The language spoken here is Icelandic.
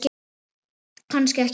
Kannski ekki alveg.